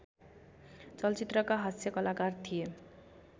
चलचित्रका हाँस्यकलाकार थिए